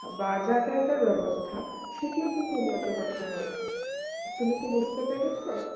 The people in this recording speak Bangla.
বা budget ব্যবস্থা সেটি কিন্তু উন্নত করতে হবে তুমি কি বুঝতে পেরেছ